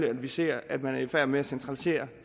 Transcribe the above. at vi ser at man er i færd med at centralisere